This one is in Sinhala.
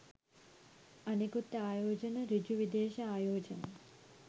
අනෙකුත් ආයෝජන ඍජු විදේශ ආයෝජන